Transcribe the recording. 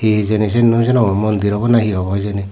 he hejani seane nosenogor mondir oboday na he obow hejani.